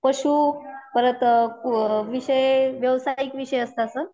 पशु परत अ व्यावसायिक विषय असता सर.